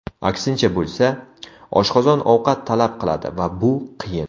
Aksincha bo‘lsa, oshqozon ovqat talab qiladi va bu qiyin.